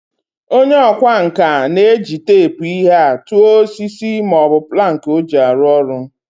Onye okwa nka na-eji teepu ihe a tua osiso ma o bu planki o ji aru oru.